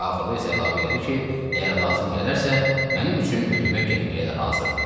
Axırda isə əlavə elədi ki, əgər lazım gələrsə mənim üçün ölümə getməyə də hazırdır.